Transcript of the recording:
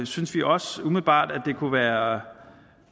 synes vi også umiddelbart at det kunne være